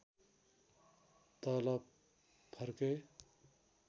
तल फर्के